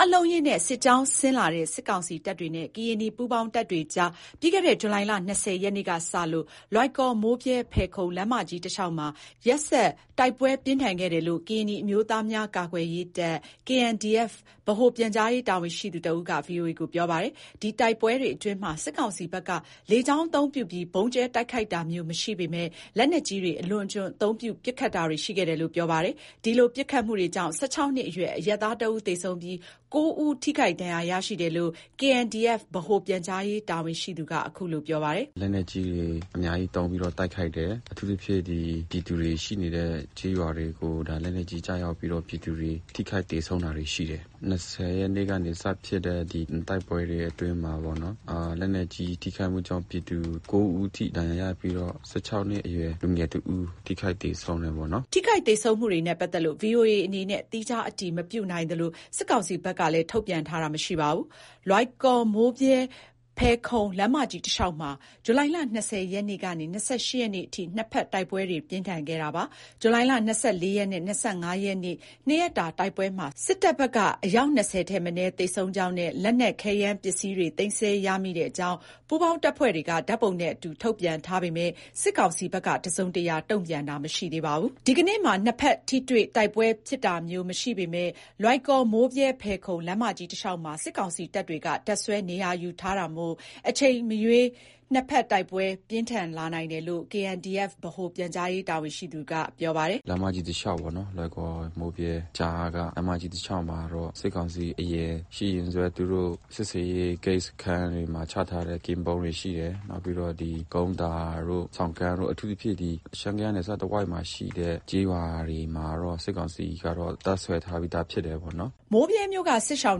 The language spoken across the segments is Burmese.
းအလုံးအရင်းနဲ့ စစ်ကြောင်းဆင်လာတဲ့ စစ်ကောင်စီတပ်တွေနဲ့ ကရင်နီပူးပေါင်းတပ်တွေအကြား ပြီးခဲ့တဲ့ ဇူလိုင်လ ၂၀ ရက်နေ့က စလို့ လွိုင်ကော်-မိုးဗြဲ-ဖယ်ခုံ လမ်းမကြီး တလျှောက်မှာ ရက်ဆက် တိုက်ပွဲပြင်းထန် ခဲ့တယ်လို့ ကရင်နီအမျိုးသားများ ကာကွယ်ရေးတပ်(KNDF) ဗဟို ပြန်ကြားရေး တာဝန်ရှိသူတဦးက ဗွီအိုအေကို ပြောပါတယ်။ ဒီတိုက်ပွဲတွေ အတွင်းမှာ စစ်ကောင်စီဘက်က လေကြောင်းအသုံးပြုပြီး ဗုံးကြဲ တိုက်ခိုက်တာမျိုး မရှိပေမဲ့ လက်နက်ကြီးတွေ အလွန်အကျွံ အသုံးပြု ပစ်ခတ်တာတွေ ရှိခဲ့တယ်လို့ ပြောပါတယ်။ ဒီလိုပစ်ခတ်မှုကြောင့် ၁၆ နှစ်အရွယ် အရပ်သားတဦး သေဆုံးပြီး ၉ ဦးထိခိုက်ဒဏ်ရာ ရရှိတယ်လို့လည်း KNDF ဗဟိုပြန်ကြားရေး တာဝန်ရှိသူက ခုလို ပြောပါတယ်။ “လက်နက်ကြီးတွေ အများကြီးသုံးပြီးတော့ တိုက်ခိုက်တယ်။ အထူးသဖြင့် ဒီပြည်သူတွေ ရှိနေတဲ့ ကျေးရွာတွေကို ဒါ လက်နက်ကြီး ကျရောက်ပြီးတော့ ပြည်သူတွေ ထိခိုက်သေဆုံးတာတွေ ရှိတယ်။ ၂၀ ရက်နေ့ကနေ စဖြစ်တယ်။ ဒီတိုက်ပွဲတွေ အတွင်းမှာပေါ့နော် လက်နက်ကြီး ထိခိုက်မှုကြောင့် ပြည်သူ ၉ ဦးအထိ ဒဏ်ရာရပြီးတော့ ၁၆နှစ် လူငယ်တဦး ထိခိုက်သေဆုံးတယ်ပေါ့နော်။” ထိခိုက်သေဆုံးမှုတွေနဲ့ ပတ်သက်လို့ ဗွီအိုအေ အနေနဲ့ သီးခြား အတည်မပြုနိုင်သလို၊ စစ်ကောင်စီဘက်က ထုတ်ပြန်တာလည်း မရှိပါဘူး။ လွိုင်ကော်-မိုးဗြဲ-ဖယ်ခုံ လမ်းမကြီးတလျှောက်မှာ ဇူလိုင်လ ၂၀ ရက်နေ့ကနေ ၂၈ ရက်နေ့အထိ နှစ်ဘက်တိုက်ပွဲ ပြင်းထန်ခဲ့တာပါ။ ဇူလိုင် ၂၄ ရက်နဲ့ ၂၅ ရက်နေ့ နှစ်ရက်တာ တိုက်ပွဲမှာ စစ်တပ်ဘက်က အယောက် ၂၀ ထက်မနည်း သေဆုံးကြောင်းနဲ့ လက်နက်ခဲယမ်းပစ္စည်းတွေ သိမ်းဆည်းရမိတဲ့ အကြောင်း ပူးပေါင်း တပ်ဖွဲ့တွေက ဓာတ်ပုံနဲ့အတူ ထုတ်ပြန်ထားပေမဲ့ စစ်ကောင်စီဘက်က တစုံတရာ တုံ့ပြန်တာ မရှိသေးပါဘူး။ ဒီကနေ့မှာ နှစ်ဘက် ထိတွေ့ တိုက်ပွဲဖြစ်တာမျိုး မရှိပေမဲ့ လွိုင်ကော်-မိုးဗြဲ-ဖယ်ခုံ လမ်းမကြီးတလျှောက်မှာ စစ်ကောင်စီတပ်တွေက တပ်စွဲ နေရာယူထားတာမို့ အချိန်မရွေး နှစ်ဘက်တိုက်ပွဲ ပြင်းထန်လာနိုင်တယ်လို့ KNDF ဗဟိုပြန်ကြားရေး တာဝန်ရှိသူက ပြောပါတယ်။ “လမ်းမကြီး တလျှောက်ပေါ့နော်။ လွိုင်ကော မိုးဗြဲကြားက လမ်းမကြီး တလျှောက်မှာတော့ စစ်ကောင်စီ အရင် စစ်ဆေးရေးဂိတ် စခန်းတွေမှာ ချထားတဲ့ ကင်းပုန်းတွေရှိတယ်။ နောက်ပြီးတော့ ဒီကုန်းသာတို့ ဆောင်းကန်းတို့ အထူးသဖြင့် ဒီရှမ်း ကယားနယ်တဝိုက်မှာရှိတဲ့ ကျေးရွာတွေမှာတော့ စစ်ကောင်စီကတော့ တပ်စွဲထားပြီးသား ဖြစ်တယ်ပေါ့နော်။” မိုးဗြဲမြို့က စစ်ရှောင်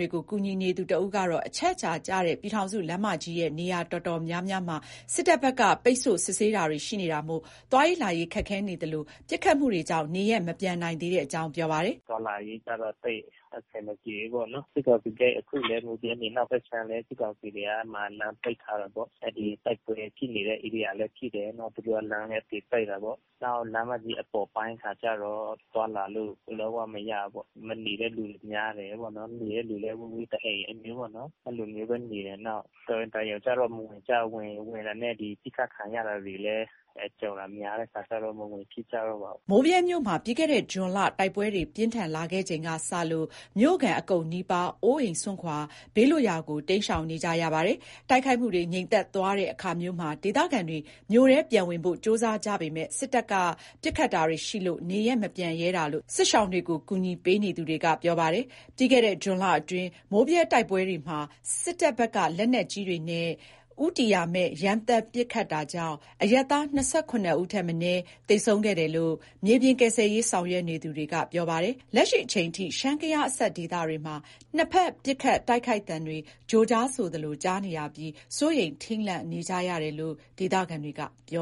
တွေကို ကူညီနေသူတဦးကတော့ အချက်အချာကျတဲ့ ပြည်ထောင်စုလမ်းမကြီးရဲ့ နေရာတော်တော်များများမှာ စစ်တပ်ဘက်က ပိတ်ဆို့စစ်ဆေးတာတွေ ရှိနေမို့ သွားရေးလာရေး ခက်ခဲနေသလို၊ ပစ်ခတ်မှုတွေကြောင့် နေရပ်မပြန်နိုင်သေးတဲ့အကြောင်း ပြောပါတယ်။ “သွားလာရေးကျတော့ သိပ်အဆင်အပြေဘူးပေါ့နော်၊ စစ်ကောင်စီဂိတ် အခုလည်း မိုးဗြဲ အနောက်ဘက်ခြမ်းလည်း စစ်ကောင်စီတွေက အဲ့မှာ လမ်းပိတ်ထားတာပေါ့။ အဲ့ဒီတိုက်ပွဲဖြစ်နေတဲ့ ဧရိယာလည်းဖြစ်တယ်။ နောက်..သူတို့လမ်းလည်း အသေပိတ်တယ်ပေါ့။ နောက်လမ်းမကြီး အပေါ်ပိုင်းကျတော့ သွားလာလို့ လုံးဝမရဘူးပေါ့။ မနေတဲ့လူတွေ များတယ်ပေါ့။ နေတဲ့လူလည်း ဝေးဝေးမှာ တအိမ် အဲ့လိုမျိုးပေါ့နော် အဲ့လိုမျိုးပဲနေတယ်။ နောက်(ဒေသခံတွေ)ဝင်နေတာနဲ့ ပစ်ခတ်ခံရတာတွေလည်း ကြုံတာမျိုး များတဲ့ခါကျတော့ မဝင်ဖြစ်ကြတော့ဘူး။” မိုးဗြဲမြို့မှာ ပြီးခဲ့တဲ့ ဇွန်လတိုက်ပွဲတွေ ပြင်းထန်လာခဲ့ချိန်ကစလို့ မြို့ခံ အကုန်းနီးပါး အိုးအိမ်စွန့်ခွာပြီး ဘေးလွတ်ရာကို တိမ်းရှောင်နေကြ ရတာပါ။ တိုက်ခိုက်မှုတွေ ငြိမ်သက်သွားတဲ့အခါမျိုးမှာ ဒေသခံတွေ မြို့ထဲပြန်ဝင်ဖို့ ကြိုးစားကြပေမဲ့ စစ်တပ်ဘက်က ပစ်ခတ်တာတွေ ရှိလို့ နေရပ် မပြန်ရဲတာလို့ စစ်ရှောင်တွေကို ကူညီပေးနေသူတွေက ပြောပါတယ်။ ပြီးခဲ့တဲ့ ဇွန်လအတွင်း မိုးဗြဲ တိုက်ပွဲမှာ စစ်တပ်ဘက်က လက်နက်ကြီးတွေနဲ့ ဦးတည်ရာမဲ့ ရမ်းသမ်း ပစ်ခတ်တာကြောင့် အရပ်သား ၂၇ ဦးထက်မနည်း သေဆုံးခဲ့တယ်လို့ မြေပြင်ကယ်ဆယ်ရေး ဆောင်ရွက်နေသူတွေက ပြောဆိုကြပါတယ်။ လက်ရှိချိန်ထိ ရှမ်း-ကယားအစပ် ဒေသတွေမှာ နှစ်ဘက် ပစ်ခတ် တိုက်ခိုက်သံတွေ ကြိုကြားဆိုသလို ကြားနေရပြီး စိုးရိမ် ထိတ်လန့်နေကြ ရတယ်လို့လည်း ဒေသခံတွေက ပြော